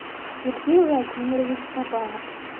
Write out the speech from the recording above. сергей владимирович кабанов